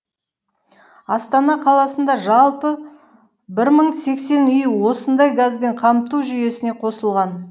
астана қаласында жалпы бір мың үй осындай газбен қамту жүйесіне қосылған